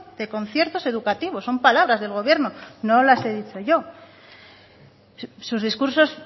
de conciertos educativos son palabras del gobierno no las he dicho yo sus discursos